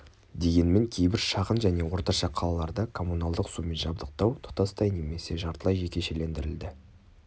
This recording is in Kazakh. дегенмен кейбір шағын және орташа қалаларда коммуналдық сумен жабдықтау тұтастай немесе жартылай жекешелендірілді